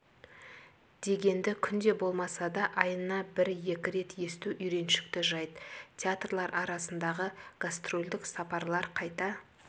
дегенді күнде болмаса да айына бір-екі рет есту үйреншікті жайт театрлар арасындағы гастрольдік сапарлар қайта